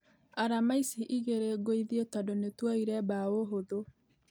Arama icio igĩrĩ gũithie tũndũ nĩtwoire bao hũthũ.